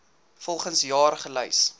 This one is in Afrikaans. volgens jaar gelys